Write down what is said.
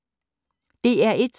DR1